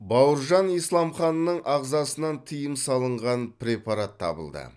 бауыржан исламханның ағзасынан тыйым салынған препарат табылды